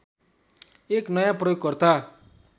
एक नयाँ प्रयोगकर्ता